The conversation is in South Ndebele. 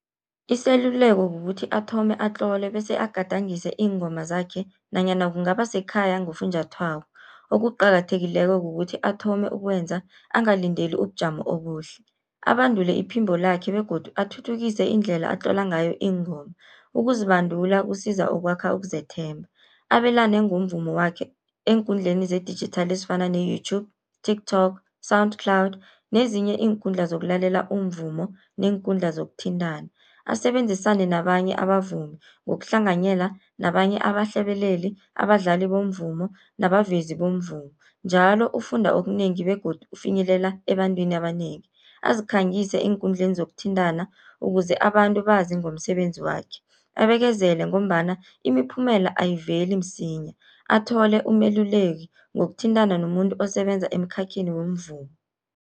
Iseluleko kukuthi athome atlole, bese agadangise iingoma zakhe nanyana kungaba sekhaya ngofunjathwako, okuqakathekileko kukuthi athome ukwenza angalindeli ubujamo obuhle. Abandule iphimbo lakhe begodu athuthukise indlela atlola ngayo iingoma, ukuzibandula kusiza ukwakha ukuzethemba. Abelane ngomvumo wakhe eenkundleni zedijithali ezifana ne-YouTube, TikTok, SoundCloud nezinye iinkundla zokulalela umvumo neenkundla zokuthintana. Asebenzisane nabanye abavumi ngokuhlanganyela nabanye abahlabeleli, abadlali bomvumo nabavezi bomvumo njalo ufunda okunengi begodu ufinyelela ebantwini abanengi. Azikhangise eenkundleni zokuthintana, ukuze abantu bazi ngomsebenzi wakhe. Abekezele ngombana imiphumela ayiveli msinya, athole umeluleki ngokuthintana nomuntu osebenza emkhakheni womvumo.